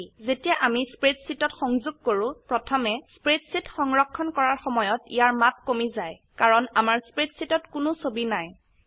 যেতিয়া আমি স্প্ৰেডশীটত সংযোগ কৰো প্ৰথমতে স্প্ৰেডশীট সংৰক্ষণ কৰাৰ সময়ত ইয়াৰ মাপ কমি যায় কাৰণ আমাৰ স্প্ৰেডশীটত কোনো ছবি নাই